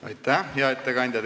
Aitäh, hea ettekandja!